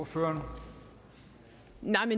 for